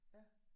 Ja